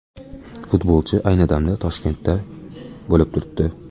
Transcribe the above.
Futbolchi ayni damda Toshkentda bo‘lib turibdi.